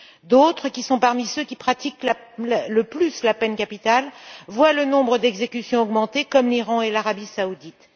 D'autres, qui sont parmi ceux qui pratiquent le plus la peine capitale, voient le nombre d'exécutions augmenter, comme l'Iran et l'Arabie saoudite.